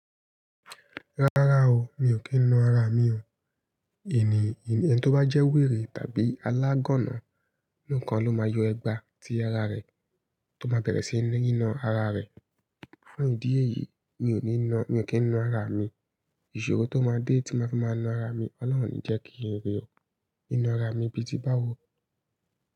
Rárá o, mi ò kí ń na ara mi o. Ènìyàn tó bá jẹ́ wèrè tàbí alágọ́nà, nikan ló máa yọ ẹgba tí ara rẹ̀ tó máa bẹ̀rẹ̀ sí ní ná ara rẹ̀. Pẹ̀lú ìdí èyí, mi ò kí ń na ara mi. Ìṣòro tó máa dé tí mo fi máa na ara mi, Ọlọ́run ní jẹ́ kí ń rí ọ. Ná ara mi bi ti báwo.